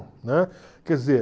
Né? Quer dizer...